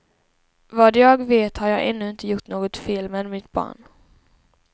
Vad jag vet har jag ännu inte gjort något fel med mitt barn.